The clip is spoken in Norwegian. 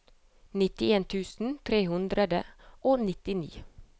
nittien tusen tre hundre og nittini